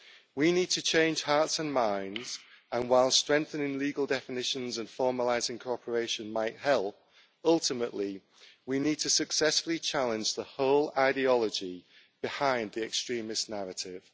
We need to change hearts and minds, and while strengthening legal definitions and formalising cooperation might help, ultimately we need to successfully challenge the whole ideology behind the extremist narrative.